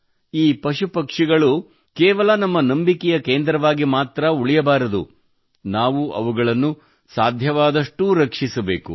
ಈ ಪಶು ಪಕ್ಷಿಗಳು ಕೇವಲ ನಮ್ಮ ನಂಬಿಕೆಯ ಕೇಂದ್ರವಾಗಿಮಾತ್ರಾ ಉಳಿಯಬಾರದು ನಾವು ಅವುಗಳನ್ನು ಸಾಧ್ಯವಾದಷ್ಟೂ ರಕ್ಷಿಸಬೇಕು